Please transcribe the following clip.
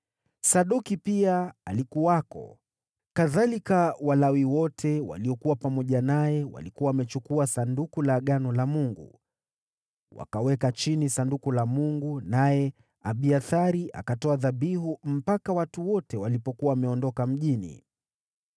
Sadoki pia alikuwako, kadhalika Walawi wote waliokuwa pamoja naye walikuwa wamechukua Sanduku la Agano la Mungu. Wakaweka chini Sanduku la Mungu, naye Abiathari akatoa dhabihu mpaka watu wote walipokuwa wameondoka mjini.